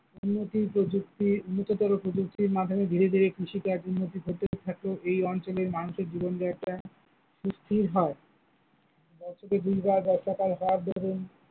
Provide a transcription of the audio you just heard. উন্নতি প্রযুক্তি উন্নততর প্রযুক্তির মাধ্যমে ধীরে ধীরে কৃষিকাজ উন্নতি এই অঞ্চলের মানুষের জীবনযাত্রা সুস্থির হয়, বছরে দুইবার বর্ষাকাল হওয়ার দরুন।